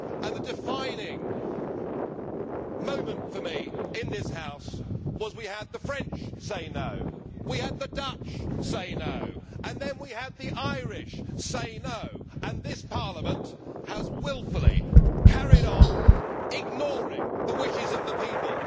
The defining moment for me in this House was when we had the French say no', we had the Dutch say no' and then we had the Irish say no', and this Parliament wilfully carried on ignoring the wishes of the people.